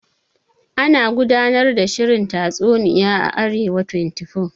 Ana gudanar da shirin tatsuniya a Arewa 24.